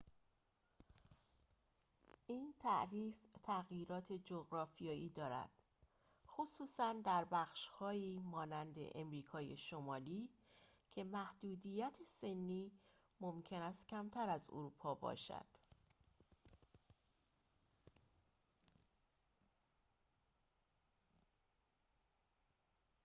این تعریف تغییرات جغرافیایی دارد خصوصا در بخش‌هایی مانند آمریکای شمالی که محدودیت سنی ممکن است کمتر از اروپا باشد